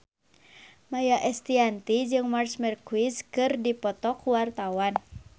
Maia Estianty jeung Marc Marquez keur dipoto ku wartawan